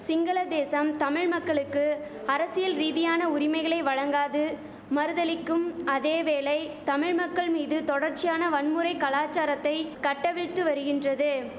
சிங்கள தேசம் தமிழ் மக்களுக்கு அரசியல் ரீதியான உரிமைகளை வழங்காது மறுதலிக்கும் அதே வேளை தமிழ் மக்கள் மீது தொடர்ச்சியான வன்முறை கலாசாரத்தை கட்டவிழ்த்து வருகின்றது